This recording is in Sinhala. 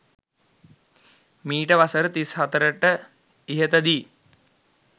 මීට වසර 34 ට ඉහත දී